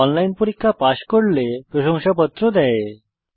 online পরীক্ষা pass করলে প্রশংসাপত্র দেওয়া হয়